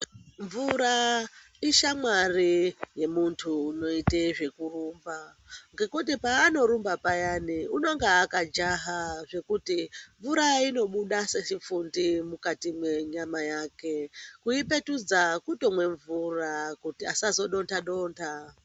Mvura ishamwari yemuntu unoite zvekurumba. Ngekuti paanorumba payani unonga akajaha zvekuti mvura inobuda sechifundi mukati mwenyama yake. Kuipetudza kutomwe mvura kuti asazodonda -donda.